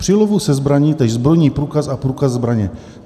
Při lovu se zbraní též zbrojní průkaz a průkaz zbraně."